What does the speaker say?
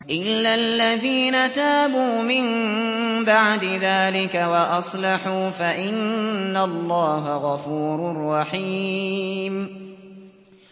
إِلَّا الَّذِينَ تَابُوا مِن بَعْدِ ذَٰلِكَ وَأَصْلَحُوا فَإِنَّ اللَّهَ غَفُورٌ رَّحِيمٌ